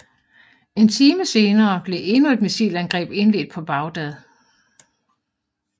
En time senere blev endnu et missilangreb indledt på Baghdad